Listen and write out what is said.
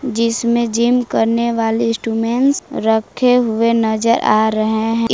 जिसमें जिम करने वाले इंस्ट्रूमेंट्स रखे हुए नजर आ रहे हैं इस--